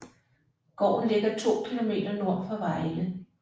Gården ligger 2 km nord for Vejle